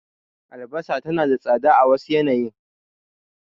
Albasa tana tsada a wasu yanayin.